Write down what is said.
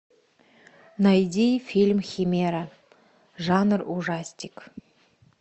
найди фильм химера жанр ужастик